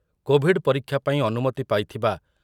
Covid ପରୀକ୍ଷା ପାଇଁ ଅନୁମତି ପାଇଥିବା